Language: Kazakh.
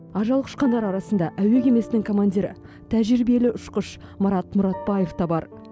ажал құшқандар арасында әуе кемесінің командирі тәжірибелі ұшқыш марат мұратбаев та бар